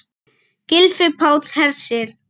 Gylfi Páll Hersir.